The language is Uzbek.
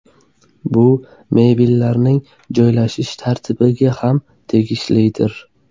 Bu mebellarning joylashish tartibiga ham tegishlidir.